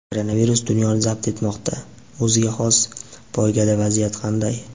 Koronavirus dunyoni zabt etmoqda - o‘ziga xos "poyga"da vaziyat qanday?.